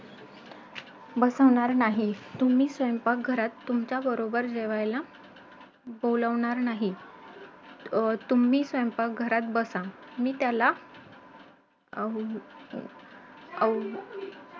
पण वडिलांनी सांगितलं ते अजूनही आठवत होतं कि अरे बाळा तुझं कुठेतरी शरीर थकून जाईल पण तुझं मन थकता कामा नये .ज्यावेळी तुझं मन थकेल ना त्यावेळी थांब कारण तू दुनियेच्या काहीतरी वेगळं करतोस.